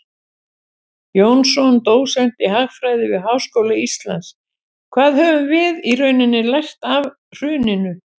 Jónsson, dósent í hagfræði við Háskóla Íslands: Hvað höfum við í rauninni lært af hruninu?